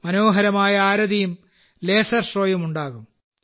മനോഹരമായ ആരതിയും ലേസർ ഷോയും ഉണ്ടാകും